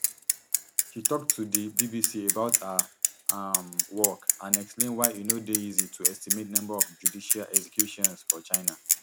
she tok to di bbc about her um work and explain why e no dey easy to estimate number of judicial executions for china